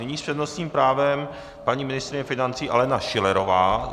Nyní s přednostním právem paní ministryně financí Alena Schillerová.